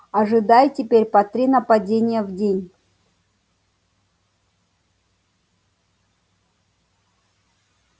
ожидай теперь по три нападения в день